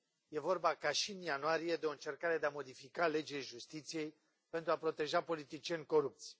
E vorba, ca și în ianuarie, de o încercare de a modifica legile justiției pentru a proteja politicieni corupți.